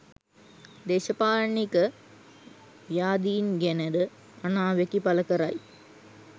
දේශපාලනික ව්‍යාධීන් ගැනද අනාවැකි පලකරයි